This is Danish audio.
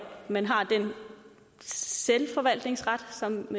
man har den selvforvaltningsret som